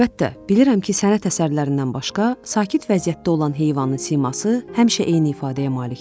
Əlbəttə, bilirəm ki, sənət əsərlərindən başqa, sakit vəziyyətdə olan heyvanın siması həmişə eyni ifadəyə malikdir.